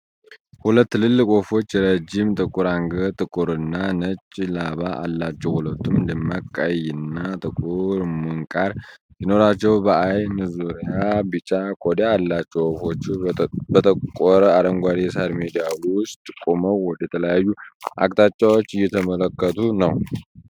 ሁለት ትልልቅ ወፎች ረጅም ጥቁር አንገት፣ ጥቁርና ነጭ ላባ አላቸው። ሁለቱም ደማቅ ቀይና ጥቁር ምንቃር ሲኖራቸው በአይን ዙሪያ ቢጫ ቆዳ አላቸው። ወፎቹ በጠቆረ አረንጓዴ የሳር ሜዳ ውስጥ ቆመው ወደተለያዩ አቅጣጫዎች እየተመለከቱ ነው።